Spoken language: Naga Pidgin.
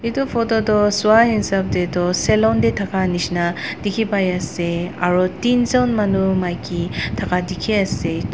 itu photo toh swa hisap teh tu salon teh thaka nishina dikhipai ase aro thinjun manu maiki thaka dikhi ase.